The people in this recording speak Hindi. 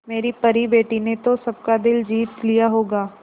मेरी परी बेटी ने तो सबका दिल जीत लिया होगा